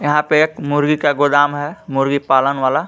यहां पे एक मुर्गी का गोदाम है मुर्गी पालन वाला.